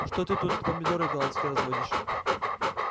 что ты тут помидоры голландские разводишь